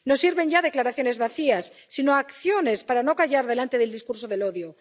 No sirven ya declaraciones vacías, sino acciones para no callar delante del discurso del odio.